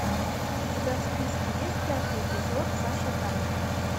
у тебя в списке есть пятый эпизод саша таня